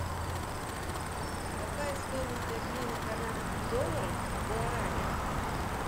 какая стоимость обмена канадских долларов в гуарани